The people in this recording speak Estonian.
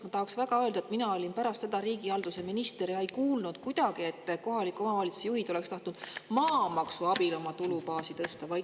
Ma tahaksin väga öelda, et mina olin pärast teda riigihalduse minister ja ei kuulnud kuidagi, et kohalike omavalitsuste juhid oleksid tahtnud maamaksu abil oma tulubaasi tõsta.